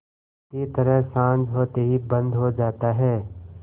की तरह साँझ होते ही बंद हो जाता है